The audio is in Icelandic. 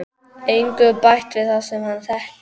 Engu bætt við það sem hann þekkir.